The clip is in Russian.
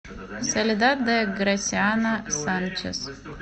соледад де грасиано санчес